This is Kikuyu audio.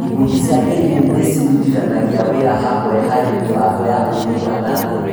Ikundi cia kĩndini nĩ ciĩrutithanagia wĩra hamwe harĩ mĩbango ya ũthii na mbere.